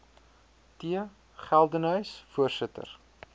t geldenhuys voorsitter